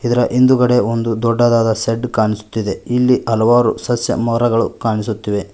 ಇದರ ಹಿಂದುಗಡೆ ಒಂದು ದೊಡ್ಡದಾದ ಶೆಡ್ ಕಾನಿಸುತ್ತಿದೆ ಇಲ್ಲಿ ಹಲವಾರು ಸಸ್ಯ ಮರಗಳು ಕಾಣಿಸುತ್ತಿವೆ.